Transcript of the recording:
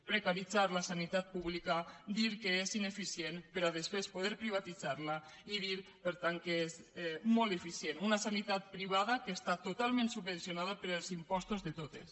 precaritzar la sanitat pública dir que és ineficient per després poder privatitzar la i dir per tant que és molt eficient una sanitat privada que està totalment subvencionada pels impostos de tots